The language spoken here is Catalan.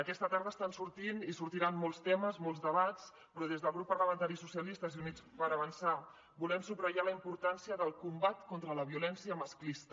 aquesta tarda estan sortint i sortiran molts temes molts debats però des del grup parlamentari socialistes i units per avançar volem subratllar la importància del combat contra la violència masclista